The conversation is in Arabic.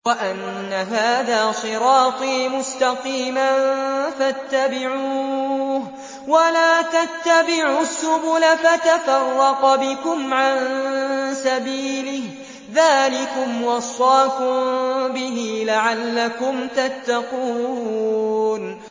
وَأَنَّ هَٰذَا صِرَاطِي مُسْتَقِيمًا فَاتَّبِعُوهُ ۖ وَلَا تَتَّبِعُوا السُّبُلَ فَتَفَرَّقَ بِكُمْ عَن سَبِيلِهِ ۚ ذَٰلِكُمْ وَصَّاكُم بِهِ لَعَلَّكُمْ تَتَّقُونَ